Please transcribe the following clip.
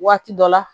Waati dɔ la